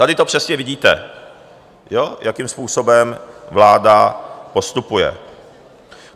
Tady to přesně vidíte, jakým způsobem vláda postupuje.